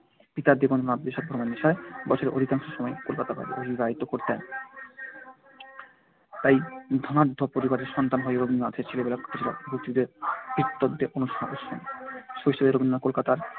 পিতা দেবেন্দ্রনাথ দেশভ্রমণের নেশায় বছরের অধিকাংশ সময় কলকাতার বাইরে অতিবাহিত করতেন। তাই ধনাঢ্য পরিবারের সন্তান হয়েও রবীন্দ্রনাথের ছেলেবেলা কেটেছিল ভৃত্যদের অনুশাসনে। শৈশবে রবীন্দ্রনাথ কলকাতার